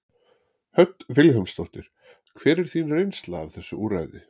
Hödd Vilhjálmsdóttir: Hver er þín reynsla af þessu úrræði?